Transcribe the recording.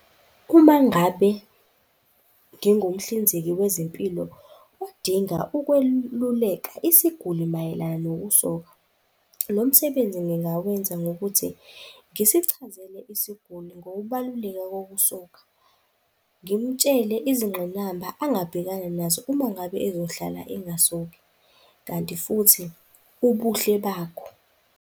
Uma ngabe ngingumhlinzeki wezempilo odinga ukweluleka isiguli mayelana nokusoka, lo msebenzi ngingawenza ngokuthi ngisichazele isiguli ngokubaluleka ngokusoka. Ngimtshele izingqinamba angabhekana nazo uma ngabe ezohlala engasoki, kanti futhi ubuhle bakho,